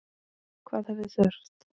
Hvað hefði þurft?